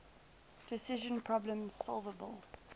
decision problems solvable